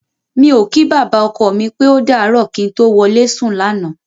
Mi ò kí bàbá ọkọ mi pé ó dàárọ̀ kí n tó wọlé sùn lánàá.